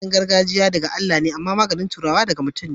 magani gargajia da ga Allah me ama magani turawa daga mutum ne